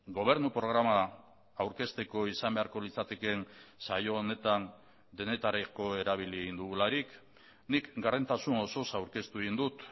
gobernu programa aurkezteko izan beharko litzatekeen saio honetan denetarako erabili egin dugularik nik gardentasun osoz aurkeztu egin dut